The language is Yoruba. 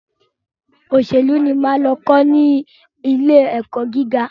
Òṣèlú ni mo máa lọ kọ́ ní ilé ẹ̀kọ́ gíga.